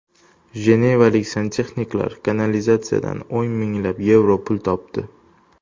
Jenevalik santexniklar kanalizatsiyadan o‘n minglab yevro pul topdi.